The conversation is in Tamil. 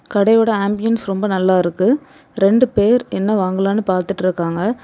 கடையோட அம்பியின்ஸ் ரொம்ப நல்லா இருக்கு ரெண்டு பேர் என்ன வாங்கலாம்னு பாத்துட்டு இருக்காங்க.